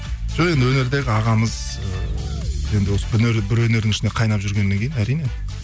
жоқ енді өнердегі ағамыз ыыы енді осы бір өнердің ішінде қайнап жүргеннен кейін әрине